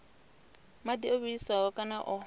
madi o vhiliswaho kana o